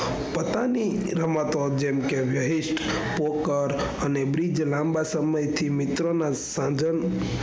પાટાની રમાતો જેમ કે વાહસ્થ poker અને બીજી લાંબા સમય થી મિત્રો ના સાધન,